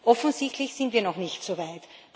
Offensichtlich sind wir noch nicht so weit.